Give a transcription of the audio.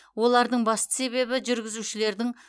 олардың басты себебі жүргізушілердің